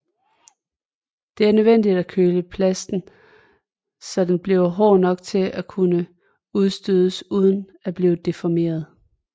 Det er nødvendigt at køle plasten så den bliver hård nok til at kunne udstødes uden at blive deformeret